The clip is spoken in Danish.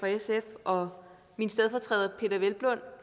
og min stedfortræder